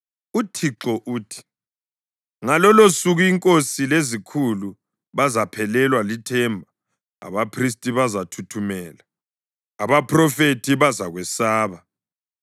UThixo uthi, “Ngalolosuku inkosi lezikhulu bazaphelelwa lithemba, abaphristi bazathuthumela, abaphrofethi bazakwesaba.”